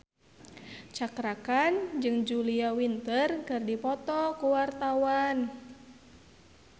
Cakra Khan jeung Julia Winter keur dipoto ku wartawan